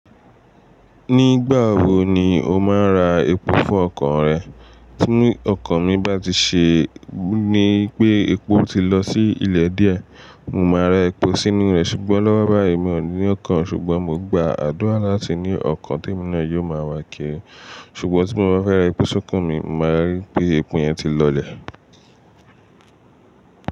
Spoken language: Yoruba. Nígbà wo ni o máa ra epo fún ọkọ̀ rẹ? Tí ọkọ̀ mi bá ti ṣe ní pé epo ti lọ sí ilẹ̀ díẹ̀, mo máa ra epo sínú rẹ̀ ṣùgbọ́n lọ́wọ́ báyìí mi ò ní ọkọ̀ ṣùgbọ́n mo gba àdúrà láti ní ọkọ̀ tí mọ̀ ń rí yóò máa wá kiri. Ṣùgbọ́n tí mo bá fẹ́ ra epo sọ́kọ̀ mi, màá rí pé epo yẹn ti lọlẹ̀.